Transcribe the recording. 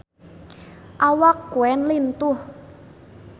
Awak Queen lintuh